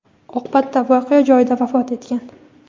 Oqibatda voqea joyida vafot etgan.